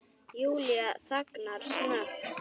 Júlía þagnar snöggt.